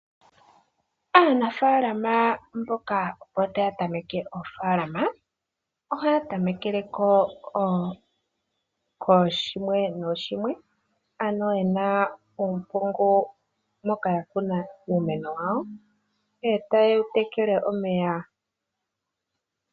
Aanafaalama mboka opo taya tameke oofalama ohaya tamekeleko kooshimwe nooshimwe, ano yena uumpungu moka yakuna uumeno wawo eta yewu tekele omeya.